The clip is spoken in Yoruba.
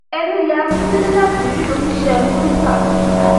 ẹnu ya akíndélé láti rí oníṣẹ murità